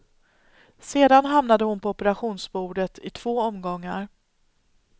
Sedan hamnade hon på operationsbordet i två omgångar.